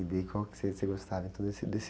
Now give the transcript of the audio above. E qual que você, você gostava desse?